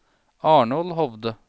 Arnold Hovde